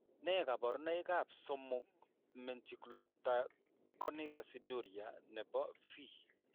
Nee kabarunoikab 3 Methylglutaconic aciduria nebo V?